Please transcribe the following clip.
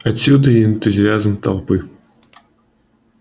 отсюда и энтузиазм толпы